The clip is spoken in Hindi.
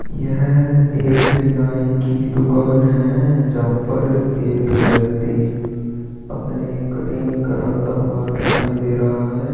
यह एक नाई की दुकान है जहाँ पर एक व्यक्ति अपनी कटिंग करता हुआ दिखाई दे रहा है।